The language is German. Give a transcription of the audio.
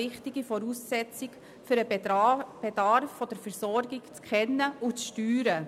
Durch die Schaffung einer Betriebsbewilligung erhält man bessere Betriebsdaten.